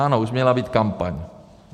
Ano, už měla být kampaň.